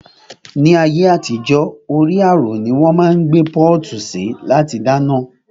Ni ayé àtijó, orí àrò ni wón máa ń gbé pọ́ọ̀tù sí láti dáná